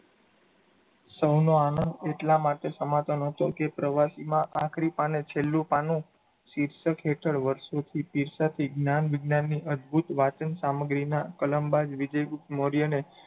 સૌનો આનંદ એટલા માટે સમાતો ન હતો કે પ્રવાસમાં આખરી પાને છેલ્લું પાનું શીર્ષક હેઠળ વર્ષોથી પીરસાતી જ્ઞાન વિજ્ઞાનની અદ્ભુત સામગ્રીનાં કલમબાજ વિજય ગુપ્ત મોર્યને,